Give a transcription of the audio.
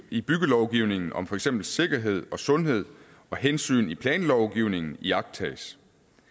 i byggelovgivningen om for eksempel sikkerhed og sundhed og hensyn i planlovgivningen iagttages